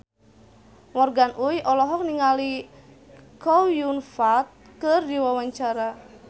Morgan Oey olohok ningali Chow Yun Fat keur diwawancara